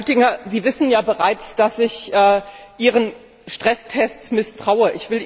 Herr Oettinger, Sie wissen ja bereits, dass ich Ihren Stresstests misstraue.